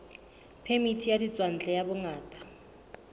phemiti ya ditswantle ya bongaka